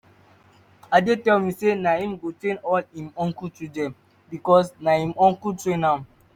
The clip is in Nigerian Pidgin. ade tell me say na him wey go train all im uncle children because na im uncle train am